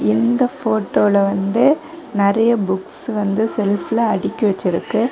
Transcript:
இந்த போட்டோல வந்து நெறைய புக்ஸ் வந்து செல்ப்ல அடுக்கி வெச்சிருக்கு.